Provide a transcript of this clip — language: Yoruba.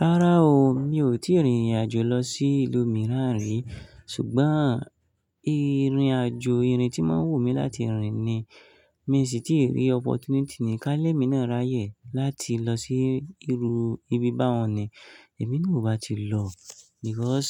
Rárá o, mi ò tíì rìnrìn-àjò lọ sí ìlú mìíràn rí. Ṣùgbọ́n ìrìn-àjò ìrìn tí wọ́n ń wù mí láti rìnrìn ni. Mi sì tí rí opportunity ni ka ni ẹ́mi náà ráyè láti lọ sí irú ibi bá wọn ní. Ẹ̀mi naa o bá ti lọ because